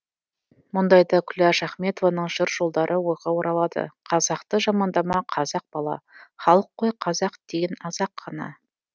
мұндайда күләш ахметованың жыр жолдары ойға оралады қазақты жамандама қазақ бала халық қой қазақ деген аз ақ қана